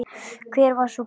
Hver var sú bók?